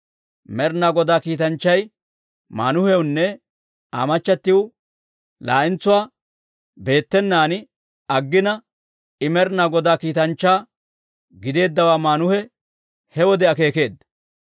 Med'inaa Godaa kiitanchchay Maanuhewunne Aa machatiw laa'entsuwaa beettenaan aggina, I Med'inaa Godaa kiitanchchaa giddeeddawaa Maanuhe he wode akeekeedda.